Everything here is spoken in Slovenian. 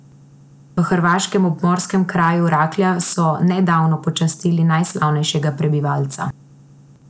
V hrvaškem obmorskem kraju Raklja so nedavno počastili najslavnejšega prebivalca.